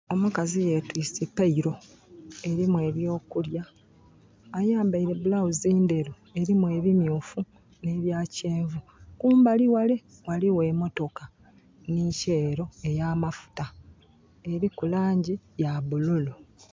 Omukazi yetwise pailo erimu ebyokulya, ayambaire bulawuzi nderu erimu ebimyufu ne bya kyenvu. Kumbali wale waliwo emotoka ni Shello eya mafuta. Eriku langi ya bululu